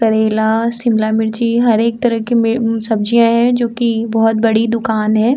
करेला शिमला मिर्ची हर एक तरह के में उन सब्जियाँ है जोकि बहुत बड़ी दूकान है।